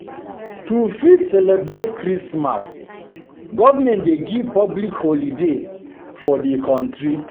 To fit celebrate Christmas government dey give public holiday for di country